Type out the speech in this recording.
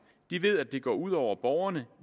de ved at det går ud over borgerne